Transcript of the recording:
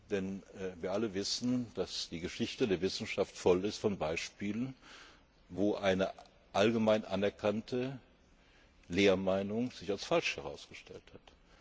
Denn wir alle wissen, dass die Geschichte der Wissenschaft voll ist von Beispielen, wo sich eine allgemein anerkannte Lehrmeinung als falsch herausgestellt